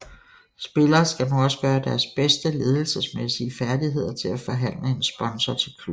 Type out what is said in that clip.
Spillere skal nu også gøre deres bedste ledelsesmæssige færdigheder til at forhandle en sponsor til klubben